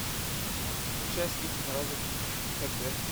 включай искусственный разум хэ дэ